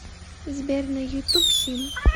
сбер на ютуб хим